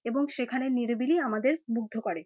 এবং সেখানের নিরিবিলি আমাদের মুগ্ধ করে।